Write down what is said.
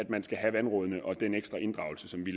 man skal have vandrådene og den ekstra inddragelse som vi